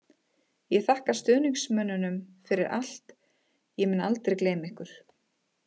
Ég þakka stuðningsmönnunum fyrir allt, ég mun aldrei gleyma ykkur.